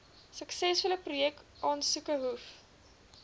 suksesvolle projekaansoeke hoef